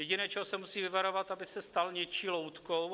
Jediné, čeho se musí vyvarovat, aby se stal něčí loutkou.